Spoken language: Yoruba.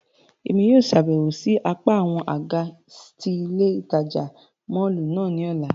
Emi yóò ṣabẹwo si apa awọn aga ti ile itaja mọllu náa ni ọla.